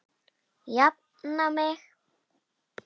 Jafna mig!